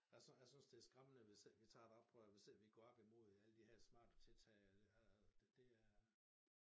Jeg jeg synes det skræmmende hvis ikke vi tager et oprør hvis ikke vi går op i mod alle de her smarte tiltag og og det er